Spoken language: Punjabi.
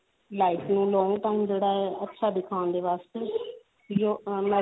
life ਨੂੰ long term ਜਿਹੜਾ ਹੈ ਅੱਛਾ ਦਿਖਾਉਣ ਦੇ ਵਾਸਤੇ